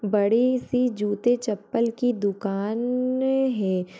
बड़ी सी जूते-चप्पल की दुकान न है।